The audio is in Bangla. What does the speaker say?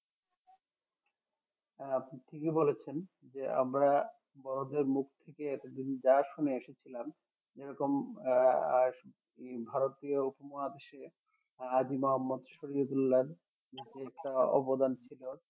হ্যাঁ আপনি ঠিকই বলেছেন যে আমরা বড়দের মুখ থেকে এতদিন যা শুনে এসেছিলাম যেরকম আহ ভারতীয় উপমহাদেশে হাজী মহম্মদ শরিয়ৎ উল্লাহ্‌র একটা অবদান ছিল